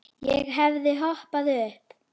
Ég hefði hoppað upp.